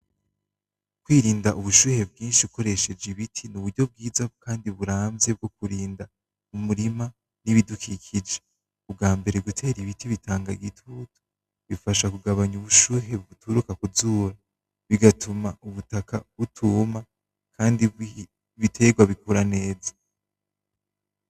Kwirinda ubushuhe bwinshi ukoresheje ibiti, ni uburyo bwiza kandi buramvye bwo kurinda umurima n'ibidukikije. Ubwambere gutera ibiti bitanga igitutu, bifasha kugabanya ubushuhe buturuka ku zuba bigatuma ubutaka butuma, kandi ibiterwa bikura neza.